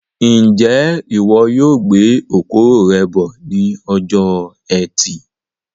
Njẹ ìwo yóò gbé okoro rẹ bọ ní ọjọ ẹtì